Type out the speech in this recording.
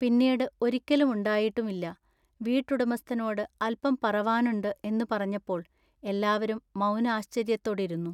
പിന്നീടു ഒരിക്കലുമുണ്ടായിട്ടുമില്ല. വീട്ടുടമസ്ഥനോടു അല്പം പറവാനുണ്ടു എന്നു പറഞ്ഞപ്പോൾ എല്ലാവരും മൗനാശ്ചര്യത്തൊടിരുന്നു.